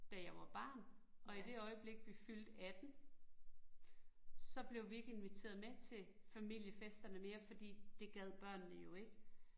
Da jeg var barn, og i det øjeblik, vi fyldte 18. Så blev vi ikke inviteret med til familiefesterne mere, fordi det gad børnene jo ikke